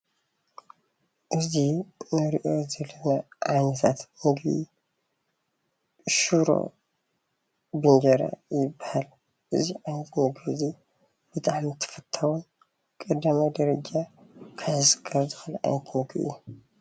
እዚ እንሪኦ ዘለና ዓይነታት ምግቢ ሽሮ ብእንጀራ ይባሃል፡፡ እዚ ዓይነት ምግቢ እዚ ብጣዕሚ ተፈታዊ 1ይ ደረጃ ክሕዝ ካብ ዝክእል ዓይነት ምግቢ እዩ፡፡